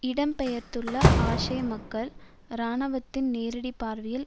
இடம் பெயர்ந்துள்ள ஆஷே மக்கள் இராணுவத்தின் நேரடி பார்வையில்